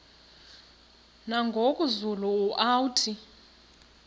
nangoku zulu uauthi